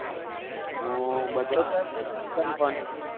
બધે કરી દે જીગા ને ફોન